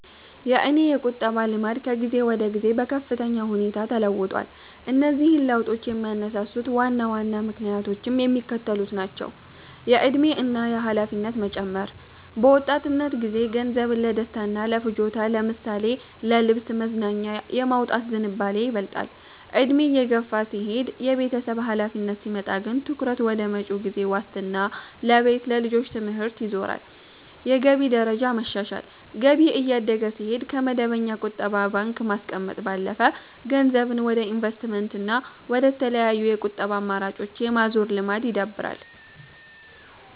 የእኔ የቁጠባ ልማድ ከጊዜ ወደ ጊዜ በከፍተኛ ሁኔታ ተለውጧል። እነዚህን ለውጦች የሚያነሳሱት ዋና ዋና ምክንያቶችም የሚከተሉት ናቸው፦ የዕድሜ እና የኃላፊነት መጨመር፦ በወጣትነት ጊዜ ገንዘብን ለደስታና ለፍጆታ ለምሳሌ ለልብስ፣ መዝናኛ የማውጣት ዝንባሌ ይበልጣል፤ ዕድሜ እየገፋ ሲሄድና የቤተሰብ ኃላፊነት ሲመጣ ግን ትኩረት ወደ መጪው ጊዜ ዋስትና ለቤት፣ ለልጆች ትምህርት ይዞራል። የገቢ ደረጃ መሻሻል፦ ገቢ እያደገ ሲሄድ፣ ከመደበኛ ቁጠባ ባንክ ማስቀመጥ ባለፈ ገንዘብን ወደ ኢንቨስትመንትና ወደ ተለያዩ የቁጠባ አማራጮች የማዛወር ልማድ ይዳብራል።